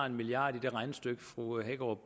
en milliard i det regnestykke fru hækkerup